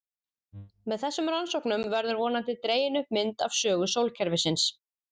Með þessum rannsóknum verður vonandi dregin upp mynd af sögu sólkerfisins.